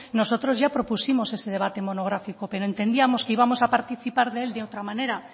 nosotros ya propusimos ese debate monográfico pero entendíamos que íbamos a participar de él de otra manera